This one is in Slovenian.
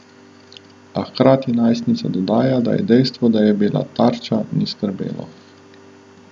A hkrati najstnica dodaja, da je dejstvo, da je bila tarča, ni skrbelo.